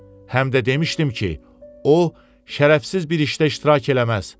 Həm də demişdim ki, o, şərəfsiz bir işdə iştirak eləməz.